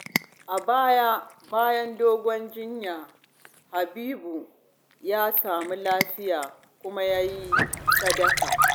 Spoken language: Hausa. A baya, bayan dogon jinya, Habibu ya samu lafiya kuma ya yi sadaka.